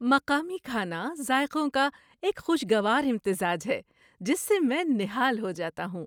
مقامی کھانا ذائقوں کا ایک خوشگوار امتزاج ہے جس سے میں نہال ہو جاتا ہوں۔